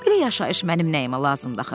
Belə yaşayış mənim nəyimə lazımdır axı?